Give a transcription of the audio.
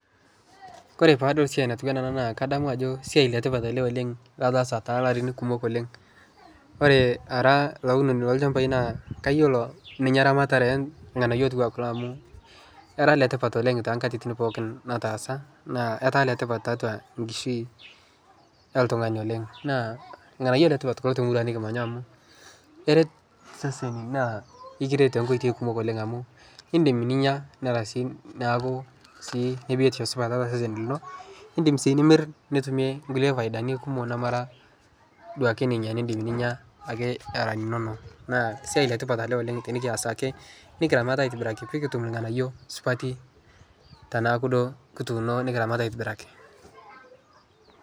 Kore paadol siai natiu enaa ena kadamu ajo esiai letipat ele oleng' lataasa too larin kumok oleng'. Ore ara olaunoni lolchambai naa kayiolo ninye eramatare irng'anayio otiu enaa kulo amu era ile tipat oleng' too nkatitin pookin nataasa, naa etaa ile tipat tiatua nkishui oltung'ani oleng'. Naa irng'anyio letipat too muruan nekimanya amu eret iseseni naa ekiret too nkoitoi kumok oleng' amu iindim ninya nera sii neaku sii le biotisho supat tiatua osesen lino. Iindim sii nimir nitumie nkulie faidani kumok nemara duake ninye niindim ninya ake era inonok naa esiai le tipat oleng' tenekias ake nekiramat aitibiraki pee kitum irng'anyio supati tenaaku duo kituuno nekiramat aitibiraki.